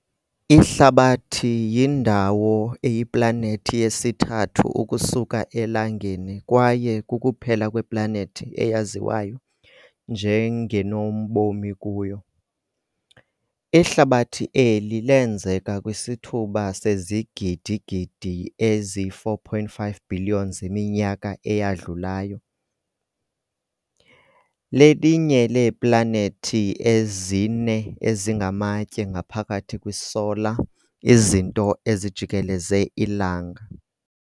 Ihlabathi yindawo eyiplanethi yesithathu ukusuka elangeni kwaye kukuphela kweplanethi eyaziwa njengenobomikuyo. Ihlabathi eli leenzeka kwisithuba sezigidigidi ezi4.5 billion zeminyaka eyadlulayo. lelinye leeplanethi ezine ezinamatye ngaphakathi kwi"solar" izinto ezijikeleze ilanga.